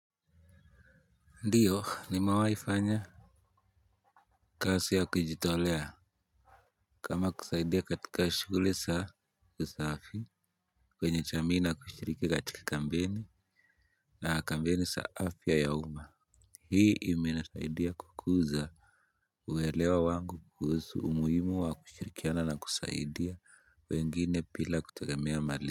Ndiyo nimawahi fanya kazi ya kujitolea kama kusaidia katika shuguli za usafi kwenye jamii na kushiriki katika kampeni na kampeni za afya ya uma. Hii imenisaidia kukuza uwelewa wangu kuhusu umuhimu wa kushirikiana na kusaidia wengine bila kutegemea mali.